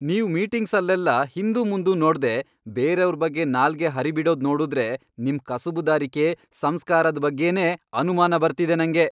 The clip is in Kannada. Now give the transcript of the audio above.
ನೀವ್ ಮೀಟಿಂಗ್ಸಲ್ಲೆಲ್ಲ ಹಿಂದುಮುಂದು ನೋಡ್ದೇ ಬೇರೆವ್ರ್ ಬಗ್ಗೆ ನಾಲ್ಗೆ ಹರಿಬಿಡೋದ್ ನೋಡುದ್ರೆ ನಿಮ್ ಕಸುಬುದಾರಿಕೆ, ಸಂಸ್ಕಾರದ್ ಬಗ್ಗೆನೇ ಅನುಮಾನ ಬರ್ತಿದೆ ನಂಗೆ.